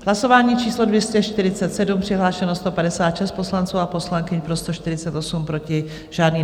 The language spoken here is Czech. Hlasování číslo 247, přihlášeno 156 poslanců a poslankyň, pro 148, proti žádný.